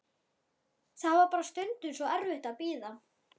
Það var bara stundum svo erfitt að bíða.